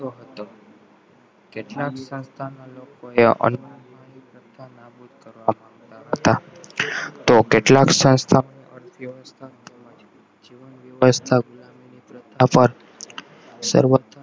કેટલાક લોકોએ કરવા માંગતા હતા તો કેટલાક જીવન વ્યવસ્થા ગુલામીની પ્રથા પર